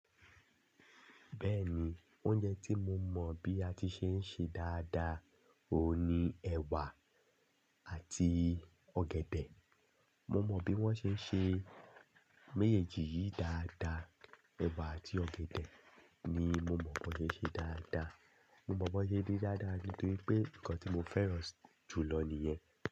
Bẹ́ẹ̀ni, oúnjẹ tí mo mọ̀ bí a ti ṣe ń ṣe dáadáa òun ni ẹ̀wà àti ọ̀gẹ̀dẹ̀. Mo mọ bí wón ṣe ń ṣe méjèèjì yìí dáadáa. Ẹ̀wà àti ọ̀gẹ̀dẹ̀ ni mo mọ̀ bó ṣe ṣe dáadáa. Mo mọ̀ bó ṣe ṣe dáadáa nítorí pé nǹkan tí mo fẹ́ràn jù lọ nìyẹn.